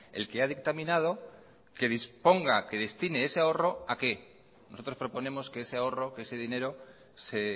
el que ha dictaminado que disponga que destine ese ahorro a que nosotros proponemos que ese ahorro que ese dinero se